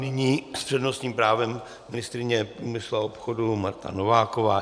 Nyní s přednostním právem ministryně průmyslu a obchodu Marta Nováková.